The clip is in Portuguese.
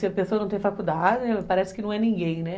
Se a pessoa não tem faculdade, parece que não é ninguém, né?